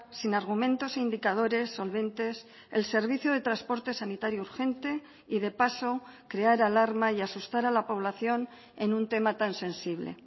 sin argumentos e indicadores solventes el servicio de transporte sanitario urgente y de paso crear alarma y asustar a la población en un tema tan sensible